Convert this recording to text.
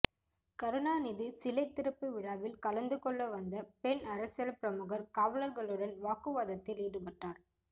கருணாநிதி சிலை திறப்பு விழாவில் கலந்து கொள்ள வந்த பெண் அரசியல் பிரமுகர் காவலர்களுடன் வாக்குவாததில் ஈடுபட்டார்